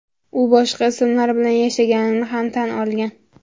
U boshqa ismlar bilan yashaganini ham tan olgan.